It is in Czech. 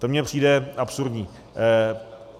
To mně přijde absurdní.